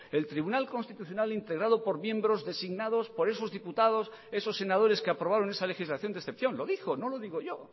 el tribunal constitucional integrado por miembros designados por esos diputados esos senadores que aprobaron esa legislación de excepción lo dijo no lo digo yo